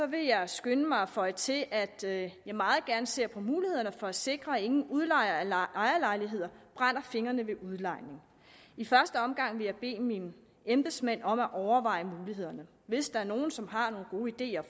vil jeg skynde mig at føje til at jeg meget gerne ser på mulighederne for at sikre at ingen udlejere af ejerlejligheder brænder fingrene ved udlejning i første omgang vil jeg bede mine embedsmænd om at overveje mulighederne hvis der er nogen som har nogle gode ideer